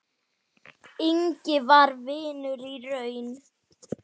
Ingvi var vinur í raun.